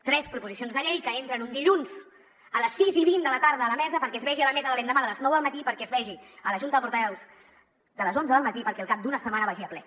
tres proposicions de llei que entren un dilluns a les sis i vint de la tarda a la mesa perquè es vegin a la mesa de l’endemà de les nou del matí perquè es vegin a la junta de portaveus de les onze del matí perquè al cap d’una setmana vagin a ple